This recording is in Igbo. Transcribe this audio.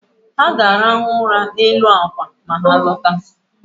Ha ga-arahụ ụra n’elu àkwà ma ha lọta